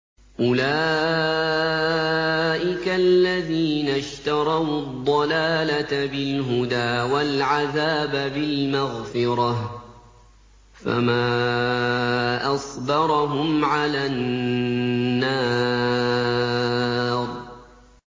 أُولَٰئِكَ الَّذِينَ اشْتَرَوُا الضَّلَالَةَ بِالْهُدَىٰ وَالْعَذَابَ بِالْمَغْفِرَةِ ۚ فَمَا أَصْبَرَهُمْ عَلَى النَّارِ